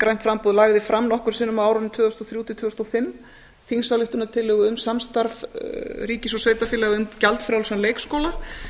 grænt framboð lagði fram nokkrum sinnum á árunum tvö þúsund og þrjú til tvö þúsund og fimm þingsályktunartillögu um samstarf ríkis og sveitarfélaga um gjaldfrjálsan leikskóla